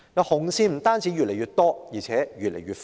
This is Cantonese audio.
"紅線"不單越來越多，而且越來越闊。